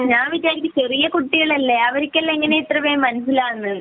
ഞാൻ വിചാരിക്കുന്നു ചെറിയ കുട്ടികളല്ലേ അവർക്കെല്ലാ എങ്ങനെയാണ് ഇത്രവേഗം മനസ്സിലാവുന്നത് എന്ന്